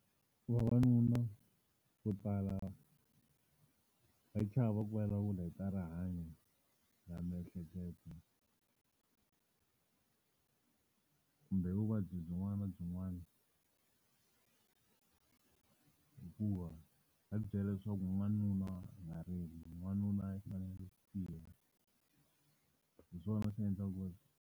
Vavanuna vo tala hi chava ku vulavula hi ta rihanyo ra miehleketo kumbe vuvabyi byin'wana na byin'wana. Hikuva va ti byela leswaku n'wanuna a nga rili, n'wanuna i fanele ku tiya. Hi swona swi endla ku ri.